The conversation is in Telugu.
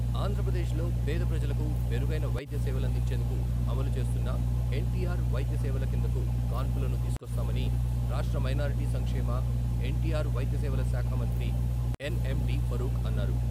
ఆంధ్రప్రదేశ్లో పేద ప్రజలకు మెరుగైన వైద్య సేవలందించేందుకు అమలు చేస్తున్న ఎన్టీఆర్ వైద్యసేవల కిందకు కాన్పులను తీసుకొస్తామని రాష్ట్ర మైనార్టీ సంక్షేమ, ఎన్టీఆర్ వైద్యసేవల శాఖ మంత్రి ఎన్ఎండీ ఫరూక్ అన్నారు.